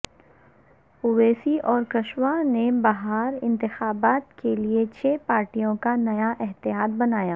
اویسی اور کشواہا نے بہار انتخابات کے لئے چھ پارٹیوں کا نیا اتحاد بنایا